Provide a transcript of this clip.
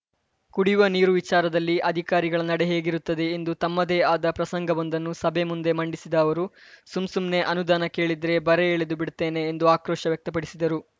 ಕುಡಿಯುವ ನೀರು ವಿಚಾರದಲ್ಲಿ ಅಧಿಕಾರಿಗಳ ನಡೆ ಹೇಗಿರುತ್ತದೆ ಎಂದು ತಮ್ಮದೇ ಆದ ಪ್ರಸಂಗವೊಂದನ್ನು ಸಭೆ ಮುಂದೆ ಮಂಡಿಸಿದ ಅವರು ಸುಮ್‌ ಸುಮ್ನೆ ಅನುದಾನ ಕೇಳಿದ್ರೆ ಬರೆ ಎಳೆದು ಬಿಡುತ್ತೇನೆ ಎಂದು ಆಕ್ರೋಶ ವ್ಯಕ್ತಪಡಿಸಿದರು